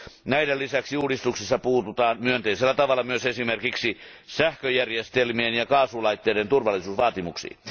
Näiden lisäksi uudistuksissa puututaan myönteisellä tavalla myös esimerkiksi sähköjärjestelmien ja kaasulaitteiden turvallisuusvaatimuksiin.